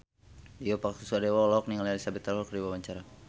Tio Pakusadewo olohok ningali Elizabeth Taylor keur diwawancara